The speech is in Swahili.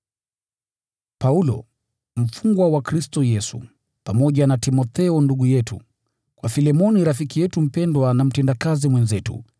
Paulo, mfungwa wa Kristo Yesu, pamoja na Timotheo ndugu yetu: Kwa Filemoni rafiki yetu mpendwa na mtendakazi mwenzetu,